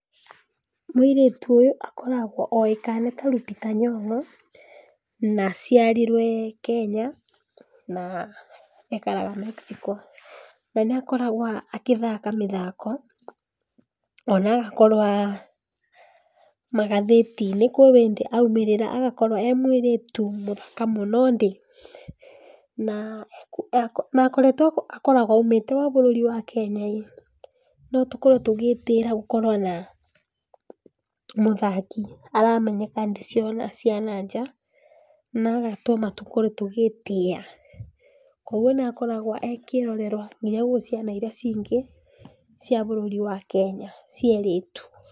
Mũirĩtu ũyũ akoragwa oĩkaine ta Lupita Nyongo, na aciarirwe Kenya na ekaraga Mexico. Na nĩ akoragwa agĩthaka mĩthako ona agakorwa magathĩtinĩ kwĩ hĩndĩ aũmĩrĩra agakorwa emwĩrĩtu mũthaka mũno ndĩ, na akoragwa aũmĩte bũrũri wa Kenya, no tũkorwe tũgĩtĩĩra gũkorwa na mũthaki aramenyeka thĩ ciothe cia na nja na agatũma tũkorwe tũgĩtĩa. Koguo nĩakoragwa e kĩrorerrwa nginya gwĩ ciana iria cingĩ cia bũrũri wa Kenya cia erĩtu.